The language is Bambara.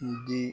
I di